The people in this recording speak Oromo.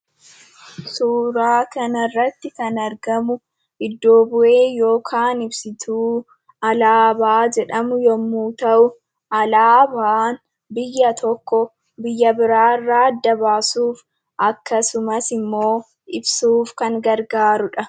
Suuraa kanarratti kan argamu iddo bu'ee yookiin ibsituu alaabaa jedhamu yemmuu ta'u, alaabaan biyya tokkoo biyya biraarraa adda baasuuf akkasumas ibsuuf kan gargaarudha.